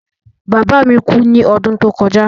Bàbá mi kú ní odún tó kojá